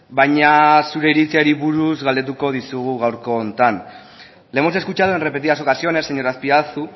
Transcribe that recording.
baina zure iritziari buruz galdetuko dizugu gaurko honetan le hemos escuchado en repetidas ocasiones señor azpiazu